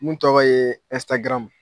Mun tɔgɔ ye